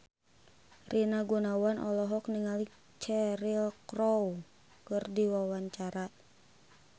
Rina Gunawan olohok ningali Cheryl Crow keur diwawancara